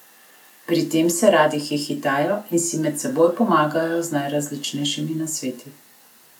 Pri tem se rade hihitajo in si med seboj pomagajo z najrazličnejšimi nasveti.